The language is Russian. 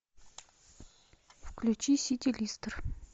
включи сити лестер